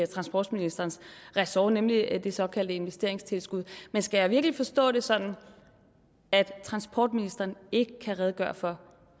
transportministerens ressort nemlig det såkaldte investeringstilskud men skal jeg virkelig forstå det sådan at transportministeren ikke kan redegøre for